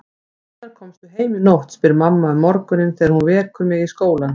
Hvenær komstu heim í nótt, spyr mamma um morguninn þegar hún vekur mig í skólann.